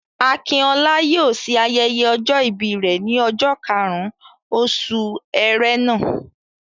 Akinola yóò ṣe ayẹyẹ ọjọ ìbí rẹ ní ọjọ́ karùn-ún oṣù Ẹrẹ́nà.